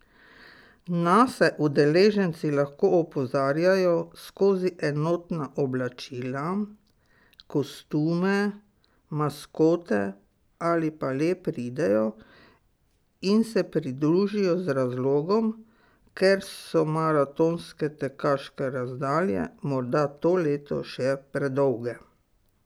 Nase udeleženci lahko opozarjajo skozi enotna oblačila, kostume, maskote ali pa le pridejo in se pridružijo z razlogom, ker so maratonske tekaške razdalje morda to leto še predolge.